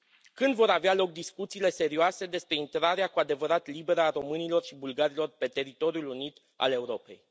Când vor avea loc discuțiile serioase despre intrarea cu adevărat liberă a românilor și bulgarilor pe teritoriul unit al Europei?